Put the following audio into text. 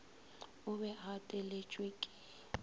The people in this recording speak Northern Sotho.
o be a gateletšwe ke